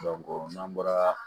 n'an bɔra